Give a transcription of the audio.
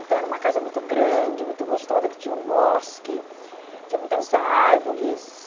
Então era uma casa muito grande, muito gostosa, que tinha um bosque, tinha muitas árvores.